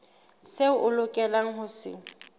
seo o lokelang ho se